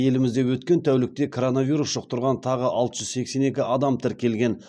елімізде өткен тәулікте коронавирус жұқтырған тағы алты жүз сексен екі адам тіркелген